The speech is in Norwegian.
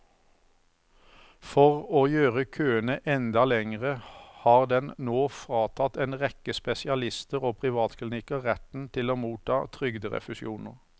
For å gjøre køene enda lengre har den nå fratatt en rekke spesialister og privatklinikker retten til å motta trygderefusjoner.